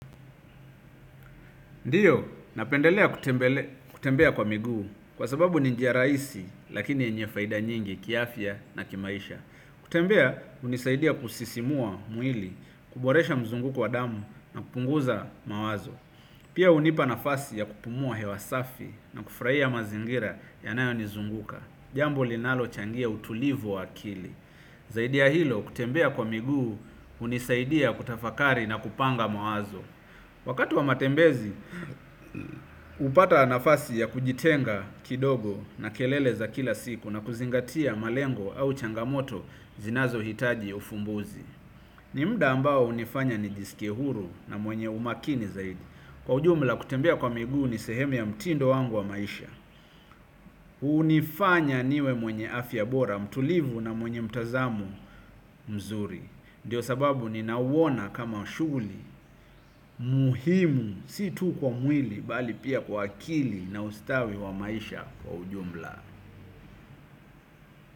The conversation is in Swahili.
Ndiyo, napendelea kutembea kwa miguu kwa sababu ni njia rahisi lakini yenye faida nyingi kiafya na kimaisha. Kutembea, hunisaidia kusisimua mwili, kuboresha mzunguko wa damu na kupunguza mawazo. Pia hunipa nafasi ya kupumua hewasafi na kufurahia mazingira ya nayo nizunguka. Jambo linalo changia utulivu wa akili. Zaidi ya hilo, kutembea kwa miguu, hunisaidia kutafakari na kupanga mawazo. Wakati wa matembezi, hupata nafasi ya kujitenga kidogo na kelele za kila siku na kuzingatia malengo au changamoto zinazo hitaji ufumbuzi. Ni mda ambao hunifanya nijisikie huru na mwenye umakini zaidi. Kwa ujumla kutembea kwa migu ni sehemu ya mtindo wangu wa maisha. Hunifanya niwe mwenye afya bora mtulivu na mwenye mtazamo mzuri ndiyo sababu ni nauona kama shughuli muhimu si tu kwa mwili bali pia kwa akili na ustawi wa maisha kwa ujumla.